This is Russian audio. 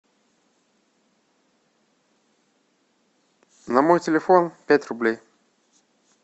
на мой телефон пять рублей